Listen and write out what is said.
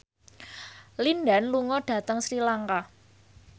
Lin Dan lunga dhateng Sri Lanka